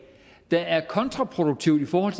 der er kontraproduktivt i forhold